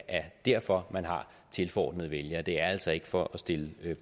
er derfor man har tilforordnede vælgere det er altså ikke for at stille